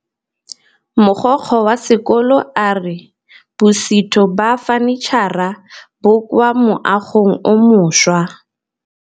Mogokgo wa sekolo a re bosutô ba fanitšhara bo kwa moagong o mošwa.